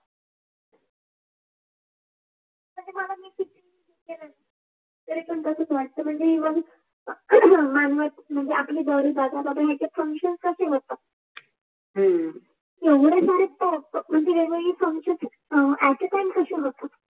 ते पण तसच वठत मंजे आपली जरीबी दाखवतात